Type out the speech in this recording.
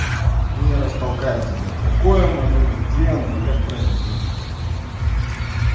я раз толкаю тебя какое моё имя где оно и как правильно звучит